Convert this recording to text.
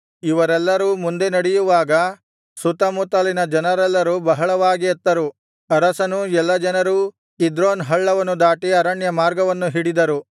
ಇವರೆಲ್ಲರೂ ಮುಂದೆ ನಡೆಯುವಾಗ ಸುತ್ತಮುತ್ತಲಿನ ಜನರೆಲ್ಲರೂ ಬಹಳವಾಗಿ ಅತ್ತರು ಅರಸನೂ ಎಲ್ಲಾ ಜನರೂ ಕಿದ್ರೋನ್ ಹಳ್ಳವನ್ನು ದಾಟಿ ಅರಣ್ಯ ಮಾರ್ಗವನ್ನು ಹಿಡಿದರು